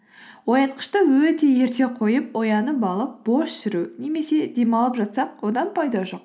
оятқышты өте ерте қойып оянып алып бос жүру немесе демалып жатсақ одан пайда жоқ